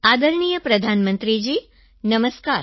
આદરણીય પ્રધાનમંત્રી જીનમસ્કાર